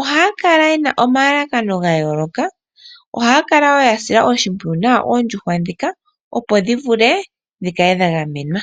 ohaya kala ye na omalalakano ga yooloka ohaya kala wo ya sila oshimpwiyu nawa oondjuhwa ndhika opo dhi vule dhi kale dha gamenwa.